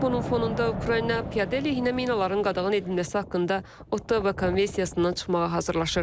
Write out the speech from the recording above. Bunun fonunda Ukrayna piyada əleyhinə minaların qadağan edilməsi haqqında Ottawa konvensiyasından çıxmağa hazırlaşır.